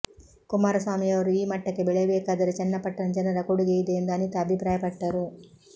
ಕುಮಾರಸ್ವಾಮಿಯವರು ಈ ಮಟ್ಟಕ್ಕೆ ಬೆಳೆಯಬೇಕಾದರೆ ಚನ್ನಪಟ್ಟಣ ಜನರ ಕೊಡುಗೆ ಇದೆ ಎಂದು ಅನಿತಾ ಅಭಿಪ್ರಾಯಪಟ್ಟರು